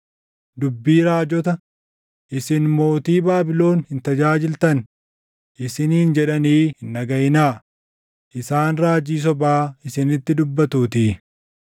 Dubbii raajota, ‘Isin mootii Baabilon hin tajaajiltan’ isiniin jedhanii hin dhagaʼinaa; isaan raajii sobaa isinitti dubbatuutii.